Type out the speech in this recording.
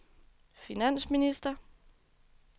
finansminister